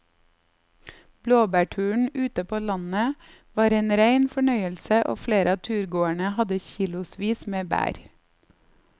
Blåbærturen ute på landet var en rein fornøyelse og flere av turgåerene hadde kilosvis med bær.